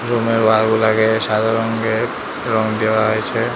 Room এর wall গুলাকে সাদা রঙ্গের রঙ দেওয়া হয়েছে।